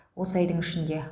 осы айдың ішінде